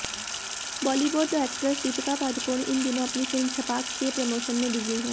Bollywood actress Deepika Padukone इन दिनों अपनी फिल्म छपाक के प्रमोशन में बिजी हैं